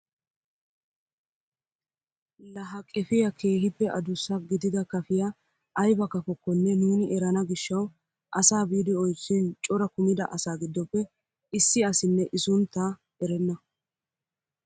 La ha qefiyaa kehippe adussa gidida kafiyaa ayba kafokonne nuuni erana giishshawu asaa biidi oychchin cora kumida asaa giddoppe issi asinne i sunttaa erenna!